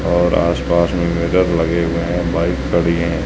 और आसपास में मिरर लगे हुए हैं बाइक खड़ी हैं।